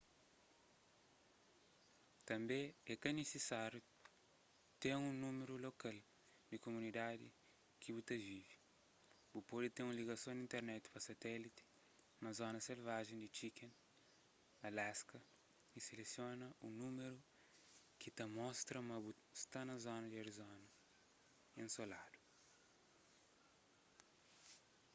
tânbe é ka nisisáriu ten un númeru lokal di kumunidadi ki bu ta vive bu pode ten un ligason di internet pa satélite na zona selvajen di chicken alasca y selesiona un númeru ki ta mostra ma bu sta na arizona ensoladu